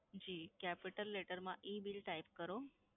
જી capital letter માં EBILL type કરો,